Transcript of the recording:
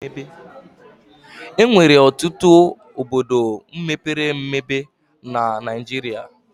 Enwere ọtụtụ obodo mepere emebe na Naijiria